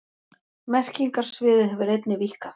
Merkingarsviðið hefur einnig víkkað.